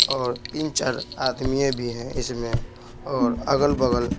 और तीन-चार आदमीये भी हैं इसमें और अगल-बगल--